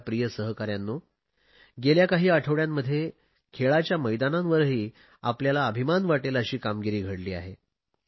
माझ्या युवा सहकाऱ्यांनो गेल्या काही आठवडयांमध्ये खेळाच्या मैदानांवरही आपल्याला अभिमान वाटेल अशी कामगिरी घडली आहे